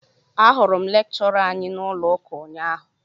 Ahụrụ m lekchọra anyị n'ụlọ ụka ụnyaahụ